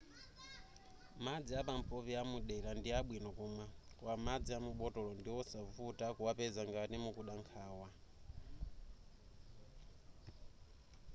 madzi apampopi amudera ndi abwino kumwa koma madzi a mubotolo ndiwosavuta kuwapeza ngati mukuda nkhawa